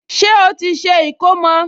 Ṣé ó ti ṣe ìkómọ?